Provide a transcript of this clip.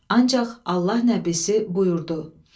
Ancaq Allah nəbisi buyurdu: